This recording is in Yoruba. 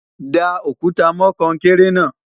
dá òkúta mọ konkere na